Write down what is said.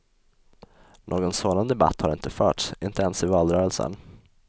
Någon sådan debatt har inte förts, inte ens i valrörelsen.